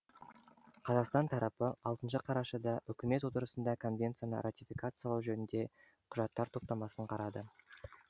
қазақстан тарапы алтыншы қарашада үкімет отырысында конвенцияны ратификацилау жөніндегі құжаттар топтамасын қарады